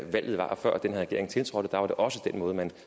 den her regering tiltrådte der var det også den måde man